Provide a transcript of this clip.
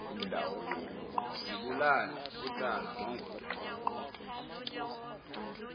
zibulale utana nongodongwana